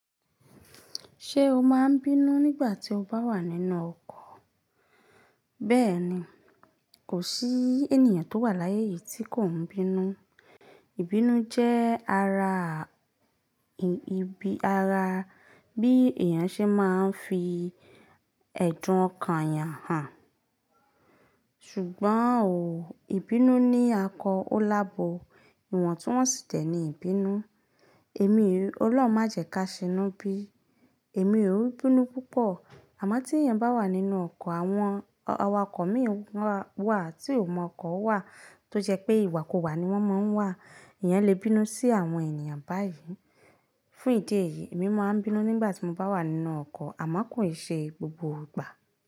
Ṣé o máa n bínú nígbà tí o bá wà nínú ọkọ̀? Bẹ́ẹ̀ni, kò sí ènìyàn tó wà láyé yìí tí kò n bínú. Ìbínú jẹ́ ara ibi ara bí èèyàn ṣe máa ń fi ẹ̀dùn ọkàn yàn hàn. Ṣùgbọ́n òún, ìbínú ni akọ ó lábo. Ìwọ̀n tú wọ́n sì dé ni ìbínú. Èmi ò, òlóhùn má jẹ́ ká ṣínú bí i, èmi ò n bínú púpọ̀. Àmọ́ tí èèyàn bá wà nínú ọkọ̀, àwọn awakọ̀ mìí wà tí ó mọ ọkọ̀ wà tó jẹ́ pé ìwà kú wá ni wọ́n máa n wà. Èèyàn lè bínú sí àwọn èniyàn báyìí. Fún ìdí èyí èmi máa n bínú nígbà tí mo bá wà nínú ọkọ̀ àmọ́ kò ṣe gbogbo ìgbà.